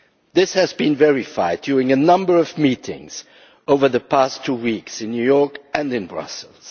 This has been verified during a number of meetings over the past two weeks in New York and in Brussels.